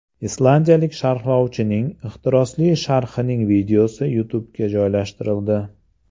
Islandiyalik sharhlovchining ehtirosli sharhining videosi YouTube’ga joylashtirildi .